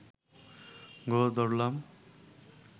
গোঁ ধরলাম